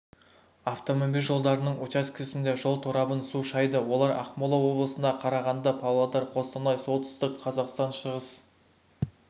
автомобиль жолдарының учаскесінде жол торабын су шайды олар ақмола облысында қарағанды павлодар қостанай солтүстік қазақстан шығыс